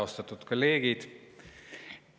Austatud kolleegid!